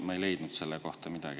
Ma ei leidnud selle kohta midagi.